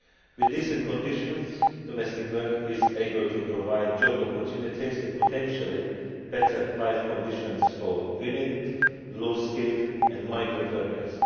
With decent conditions, domestic work is able to provide job opportunities and potentially better life conditions for women, low skilled and migrant workers.